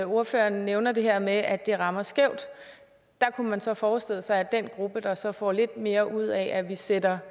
ordføreren nævner det her med at det rammer skævt kunne man så forestille sig at den gruppe der så får lidt mere ud af at vi sætter